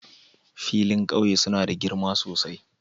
Filayen ƙauye suna da girma sosai